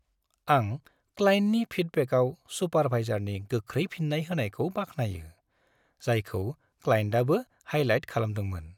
आं क्लाइन्टनि फिडबेकाव सुपारभाइजारनि गोख्रै फिन्नाय होनायखौ बाख्नायो, जायखौ क्लाइन्टआबो हाईलाइट खालामदोंमोन।